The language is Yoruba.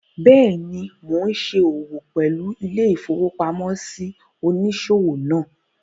Bẹ́ẹ̀ni, mo n ṣe òwò pẹ̀lú ilé-ìfowópamósí òníṣòwò náà